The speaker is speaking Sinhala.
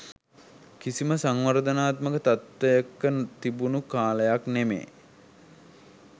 කිසිම සංවර්ධනාත්මක තත්ත්වයක තිබුණු කාලයක් නෙමේ.